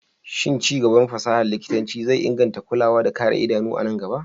Shin ci gaban fasahar likitanci zai inganta kulawa da kare idanu a nan gaba?